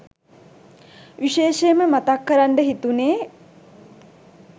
විශේෂයෙන්ම මතක් කරන්ඩ හිතුණේ